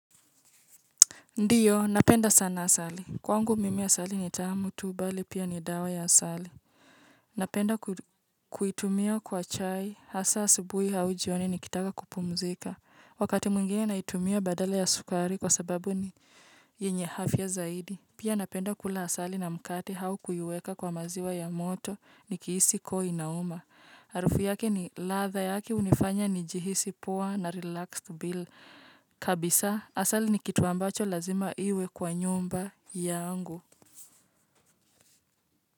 Ndiyo, napenda sana asali. Kwangu mimi asali ni tamu tu bali pia ni dawa ya asali. Napenda ku kuitumia kwa chai, hasa asubuhi au jioni nikitaka kupumzika. Wakati mwingine naitumia badala ya sukari kwa sababu ni yenye afya zaidi. Pia napenda kula asali na mkate au kuiweka kwa maziwa ya moto, nikihisi koo inauma. Harufu yake ni ladha yake, hunifanya nijihisi poa narelax bila kabisa. Asali ni kitu ambacho lazima iwe kwa nyumba yangu.